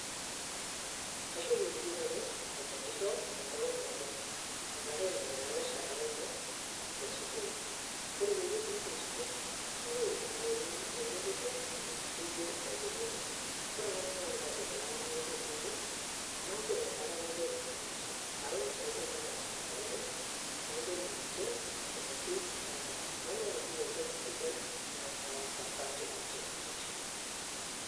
kachomo sii nanu akelicho ee ngolong' nabo katai nabuo lalachara laine ee skull, kore payie ebuo ninje skull ketae engelicho nageli ninje kore apa nanu amu kategela nanu(cs wazazi cs) naaku ee nkata nagel nanu ninje, nalo naisabaki lalachera laine nagel ninje te ngoitei napaa, naaku nyia ntoki sidai nataasa taatua ninje.